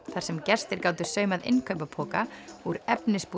þar sem gestir gátu saumað innkaupapoka úr